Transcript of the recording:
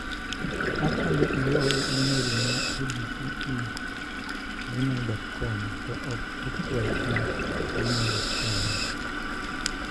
Akwayo ioe imel ne abc e gmail.com to ok xy e gmail.com.